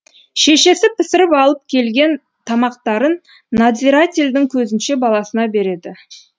шешесі пісіріп алып келген тамақтарын надзирательдің көзінше баласына береді